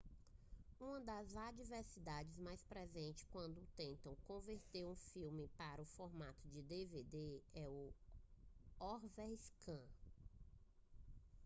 uma das adversidade mais presentes quando tentam converter um filme para o formato de dvd é o overscan